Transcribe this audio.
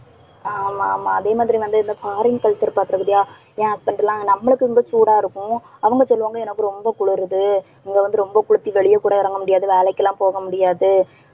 ஆமா ஆமா அதே மாதிரி வந்து இந்த foreign culture பார்க்கிறோம் இல்லையா? ஏன் அப்படின்ட்டு எல்லாம் நம்மளுக்கு ரொம்ப சூடா இருக்கும். அவங்க சொல்லுவாங்க, எனக்கு ரொம்ப குளிருது. இங்கே வந்து ரொம்ப குளிச்சு வெளியே கூட இறங்க முடியாது. வேலைக்கெல்லாம் போக முடியாது